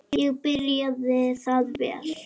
Ekki byrjaði það vel.